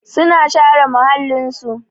Su na share muhallin su.